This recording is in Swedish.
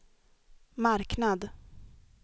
marknad